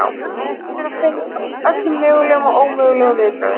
Hún reynir að finna upp á öllum mögulegum og ómögulegum viðbrögðum.